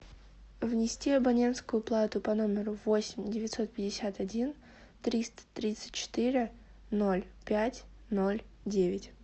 внести абонентскую плату по номеру восемь девятьсот пятьдесят один триста тридцать четыре ноль пять ноль девять